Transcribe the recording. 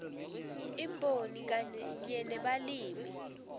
imboni kanye nebalimi